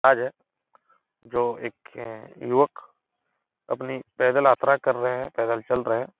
आज है जो एक अ युवक अपनी पैदल यात्रा कर रहे हैं पैदल चल रहे हैं।